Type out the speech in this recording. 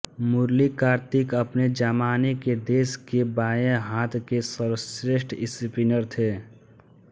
मुरली कार्तिक अपने जमाने के देश के बाएं हाथ के सर्वश्रेष्ठ स्पिनर थे